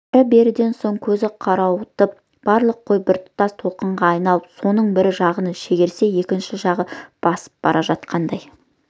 әрі-беріден соң көзі қарауытып барлық қой біртұтас толқынға айналып соның бір жағын шегерсе екінші жағы басып бара жатқандай